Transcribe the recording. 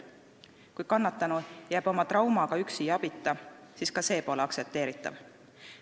Kui kannatanu jääb oma traumaga üksi ja abita, siis ka see pole aktsepteeritav.